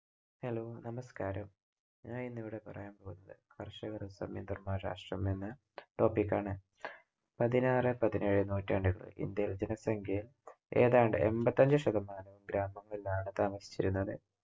Hello നമസ്‌കാരം, ഞാനിന്ന് ഇവിടെ പറയാൻ പോകുന്നത് കർഷക സമാന്തരമായ രാഷ്ട്രമെന്ന topic ആണ്. പതിനാറ് പതിനേഴ് നൂറ്റാണ്ടിൽ ഇന്ത്യയിലെ ജനസംഖ്യയിൽ ഏതാണ്ട് എൺപത്തഞ്ച് ശതമാനവും ഗ്രാമങ്ങളിൽ ആണ് താമസിച്ചിരുന്നത്.